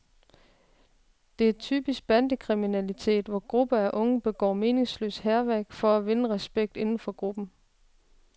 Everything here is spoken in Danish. Det er typisk bandekriminalitet, hvor grupper af unge begår meningsløst hærværk for at vinde respekt inden for gruppen.